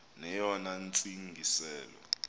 neyona ntsi ngiselo